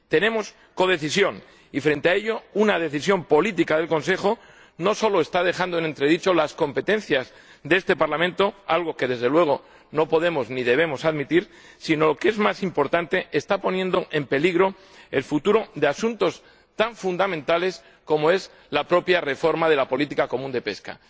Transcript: Tenemos codecisión y, frente a ello, una decisión política del Consejo no solo está dejando en entredicho las competencias de este Parlamento —algo que, desde luego, no podemos ni debemos admitir— sino, lo que es más importante, está poniendo en peligro el futuro de asuntos tan fundamentales como la propia reforma de la política común de pesca.